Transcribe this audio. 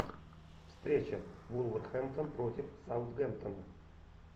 встреча вулверхэмптон против саутгемптон